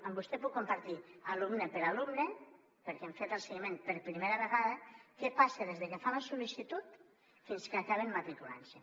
amb vostè puc compartir alumne per alumne perquè n’hem fet el seguiment per primera vegada què passa des de que fan la sol·licitud fins que acaben matriculant se